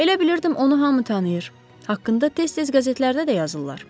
Elə bilirdim onu hamı tanıyır, haqqında tez-tez qəzetlərdə də yazırlar.